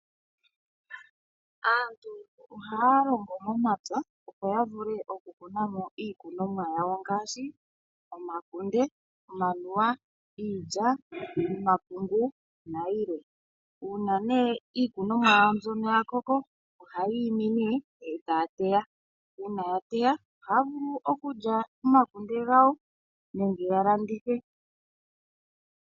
Aantu ohaya longo momapya, opo ya vule okukuna mo iikuna mo iikunomwa yawo ngaashi: omakunde, omanuwa, iilya, omapungu nayilwe. Uuna iikunomwa yawo ya koko ohayi imi e taya teya. Uuna ya teya ohaya vulu okulya omakunde gawo nenge ya landithe.